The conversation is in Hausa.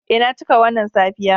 Eh na cika wannan safiya.